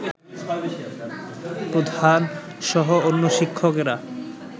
প্রধানসহ অন্য শিক্ষকেরা